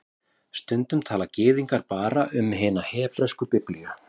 Stundum tala Gyðingar bara um hina hebresku Biblíu